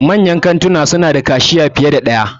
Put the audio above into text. Manyan kantuna suna da kashiya fiye da ɗaya.